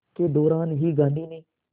के दौरान ही गांधी ने